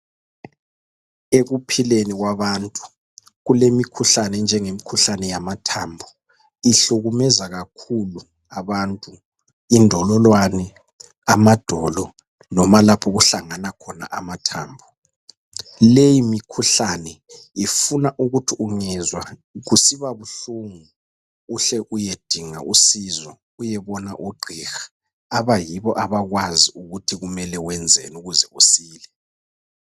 Ekuphileni kwabantu kulemikhuhlane enjengeyamathambo , ihlukumeza kakhulu abantu , indololwane , amadolo noma lapho okuhlangana khona amathambo , leyi mikhuhlane ufuna ukuthi ungezwa kusiba buhlungu uhle uyedinga usizo uyebona ogqiha abayibo abakwazi ukuthi kumele wenzeni ukuze usile